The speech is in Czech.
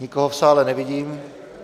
Nikoho v sále nevidím.